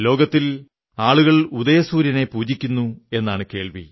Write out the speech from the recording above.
ലോകത്തിൽ ആളുകൾ ഉദയസൂര്യനെ പൂജിക്കുന്നു എന്നാണ് കേൾവി